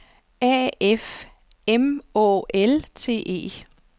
A F M Å L T E